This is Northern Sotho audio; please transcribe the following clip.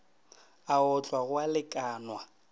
a otlwa go a lekanwa